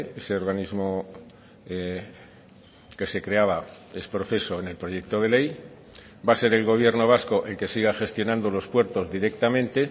ese organismo que se creaba ex profeso en el proyecto de ley va a ser el gobierno vasco el que siga gestionando los puertos directamente